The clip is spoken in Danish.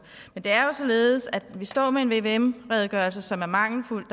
men det er jo således at vi står med en vvm redegørelse som er mangelfuld